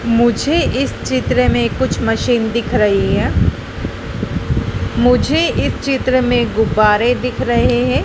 मुझे इस चित्र में कुछ मशीन दिख रही हैं मुझे इस चित्र मैं गुब्बारे दिख रहे है।